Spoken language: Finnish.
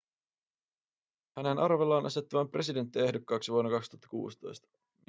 hänen arvellaan asettuvan presidenttiehdokkaaksi vuonna 2016